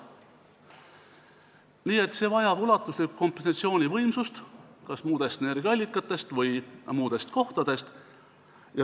Nii et see vajab ulatuslikku kompensatsioonivõimsust kas muudest energiaallikatest või muudest kohtadest.